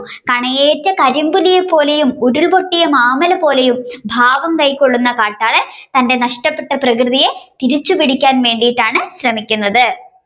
കണയേറ്റ കരിമ്പുലി പോലെയും ഉരുൾ പൊട്ടിയ മാമ്മലപോലെയും ഭാവംകൈകൊള്ളുന്ന കാട്ടാളൻ തന്റെ നഷ്ടപെട്ട പ്രകൃതിയെ തിരിച്ചുപിടിക്കുവാൻ വേണ്ടിയിട്ടാണ് ശ്രമിക്കുന്നത്